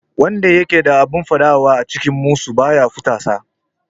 Wanda yake da abin faɗa a cikin musu ba ya fusata